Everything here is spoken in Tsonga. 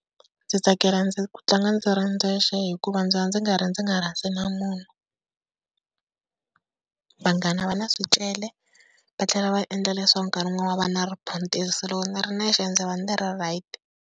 Ndzi tsakela ku tlanga ndzi ri ndzexe, hikuva ndzi va ndzi nga ri ndzi nga rhasi na munhu. Vanghana va na swicele va tlhela va endla leswaku nkarhi wun'wanyana va na riphuntiso loko ni ri nexe ndzi va ni ri right.